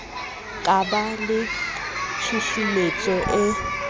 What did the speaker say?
ka ba le tshusumetso e